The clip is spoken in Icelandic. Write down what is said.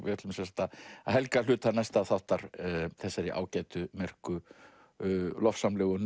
við ætlum að helga hluta næsta þáttar þessari ágætu merku lofsamlegu